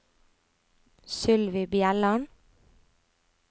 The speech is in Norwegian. Sylvi Bjelland